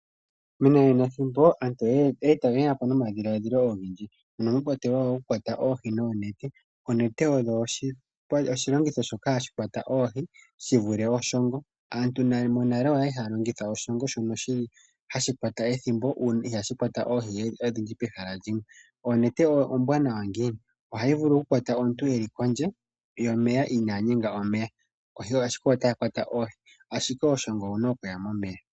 Menanenathimbo aantu oye ya po nomadhiladhilo ogendji, mono mwa kwatelwa okukwata oohi noonete. Oonete odho oshilongitho shoka hashi kwata oohi shi vule oshongo. Aantu monale oya li haya longitha oshongo shono shi li hashi kwata ethimbo, sho ihashi kwata oohi pehala limwe. Onete ombwanawa ngiini? Ohayi vulu okukwata omuntu e li kondje yomeya inaa guma omeya ashike ota kwata oohi, ashike oshongo owu na okuya momeya.